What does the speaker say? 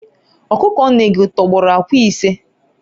ọkụkọ nne gị tọgbọrọ akwa ise?